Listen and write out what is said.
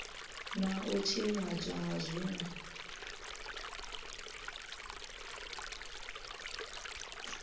na u tshinyadzwa ha zwinwe